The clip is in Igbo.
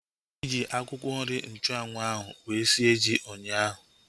Anyị ji akwụkwọ nri nchanwu ahu wee sie ji ụnyaahụ